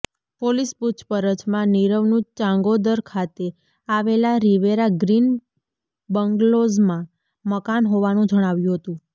police પુછપરછમાં નીરવનું ચાંગોદર ખાતે આવેલા રિવેરા ગ્રીન બંગ્લોઝમાં મકાન હોવાનું જણાવ્યું હતું